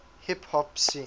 hip hop scene